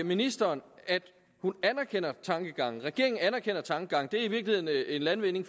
ministeren at hun anerkender tankegangen og at regeringen anerkender tankegangen det er i virkeligheden en landvinding